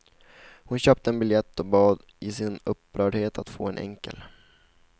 Hon köpte en biljett och bad i sin upprördhet att få en enkel.